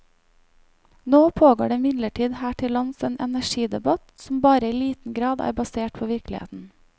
Nå pågår det imidlertid her til lands en energidebatt som bare i liten grad er basert på virkeligheten.